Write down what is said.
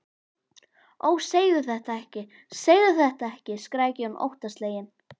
Ó, segðu þetta ekki, segðu þetta ekki, skrækir hún óttaslegin.